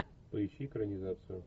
поищи экранизацию